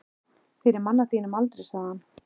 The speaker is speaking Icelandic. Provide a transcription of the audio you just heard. Fyrir mann á þínum aldri, sagði hann.